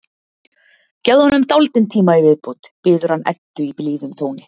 Gefðu honum dálítinn tíma í viðbót, biður hann Eddu í blíðum tóni.